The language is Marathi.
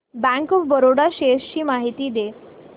बँक ऑफ बरोडा शेअर्स ची माहिती दे